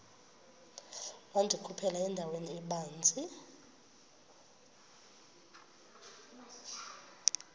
wandikhuphela endaweni ebanzi